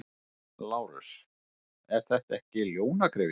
LÁRUS: Er þetta ekki ljónagryfja?